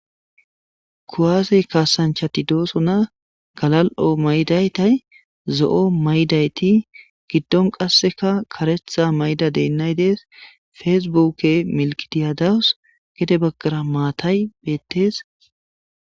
Kuwase kassanchchatii de'esossonna galali'o mayidaytti zo'o mayidaytti giddon qasekka kareththa mayidda dayinayi dees feaibuuke maalatay dees gedde baggara maatay bettes